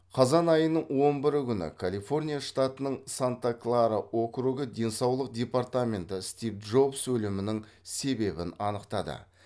қазан айының он бірі күні калифорния штатының санта клара округы денсаулық департаменті стив джобс өлімінің себебін анықтады